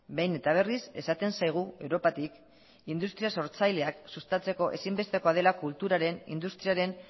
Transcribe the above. behin eta berriz esaten zaigu europatik industria sortzaileak sustatzeko ezinbestekoa dela kulturaren industriaren